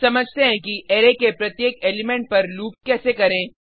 अब समझते हैं कि अरै के प्रत्येक एलिमेंट पर लूप कैसे करें